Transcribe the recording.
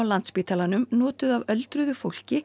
spítalanum notuð af öldruðu fólki